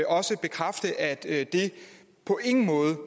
også bekræfte at det på ingen måde